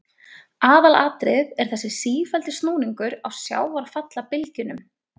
Aðalatriðið er þessi sífelldi snúningur á sjávarfallabylgjunum.